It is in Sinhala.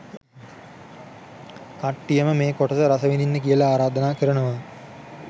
කට්ටියටම මේ කොටස රසවිදින්න කියලා ආරාධනා කරනවා